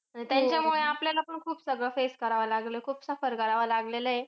त्यांच्यामुळे आपल्याला पण खूप सगळं face करावं लागलं. खूप suffer करावं लागलेलं.